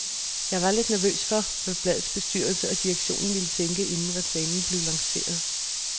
Jeg var lidt nervøs for, hvad bladets bestyrelse og direktion ville tænke, inden reklamen blev lanceret.